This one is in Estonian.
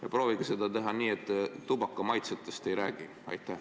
Ja proovige seda teha nii, et te tubaka maitsetest ei räägi!